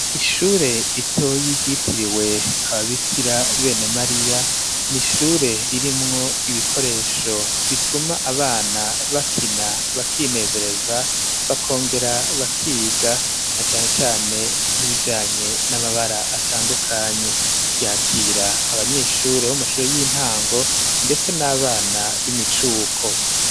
Ishure ritoye ryitiriwe ababikira bene Mariya n'ishure ririmwo ibikoresho bituma abana bakina bakinezereza bakongera bakiga na cane cane nkibijanye n'amabara atandukanye ryakira abanyeshure b'amashuro y'intango ndetse n'abana b'imicuko.